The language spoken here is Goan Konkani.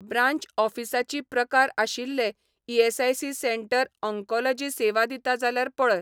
ब्रांच ऑफीसा ची प्रकार आशिल्लें ईएसआयसी सेंटर ऑन्कोल़जी सेवा दिता जाल्यार पळय.